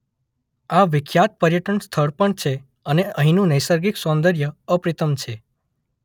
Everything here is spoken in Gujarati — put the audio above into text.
આ વિખ્યાત પર્યટન સ્થળ પણ છે અને અહીંનું નૈસર્ગિક સૌંદર્ય અપ્રતિમ છે.